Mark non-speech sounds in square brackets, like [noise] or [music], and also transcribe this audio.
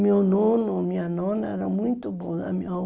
Meu nono, minha nona, era muito bom [unintelligible]